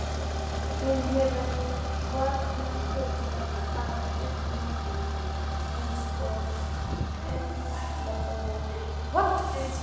Hún hefur varnarhlutverki að gegna eins og eitlar og milti.